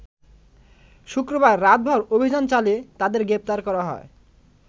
শুক্রবার রাতভর অভিযান চালিয়ে তাদের গ্রেপ্তার করা হয়।